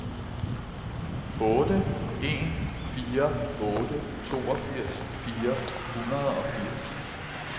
otte en fire otte toogfirs fire hundrede og firs